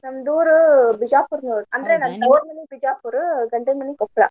ನಮ್ದ್ ಊರು ಬಿಜಾಪುರ್ ನೋಡ್ರಿ ಅಂದ್ರ ನನ್ನ ತವ್ರಮನಿ ಬಿಜಾಪುರ್ ಗಂಡನ ಮನಿ ಕೊಪ್ಳ.